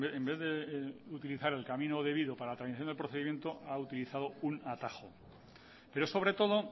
en vez de utilizar el camino debido para tramitación del procedimiento ha utilizado un atajo pero sobre todo